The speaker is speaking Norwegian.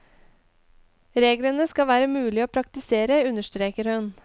Reglene skal være mulige å praktisere, understreker hun.